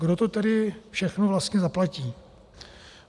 Kdo to tedy všechno vlastně zaplatí?